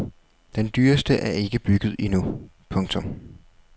Den dyreste er ikke bygget endnu. punktum